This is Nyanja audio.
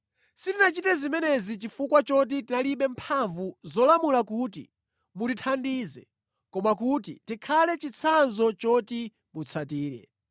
Sitinachite zimenezi chifukwa choti tinalibe mphamvu zolamula kuti mutithandize koma kuti tikhale chitsanzo choti mutsatire.